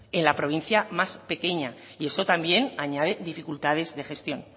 en la provincia más pequeña y eso también añade dificultades de gestión